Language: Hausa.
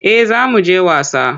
Eh za mu je wasa.